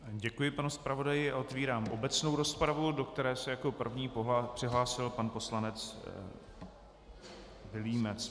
Děkuji panu zpravodaji a otvírám obecnou rozpravu, do které se jako první přihlásil pan poslanec Vilímec.